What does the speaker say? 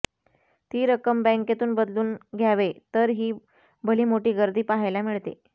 ती रक्कम बँकेतून बदलून घ्यावे तर ही भलीमोठी गर्दी पाहायला मिळते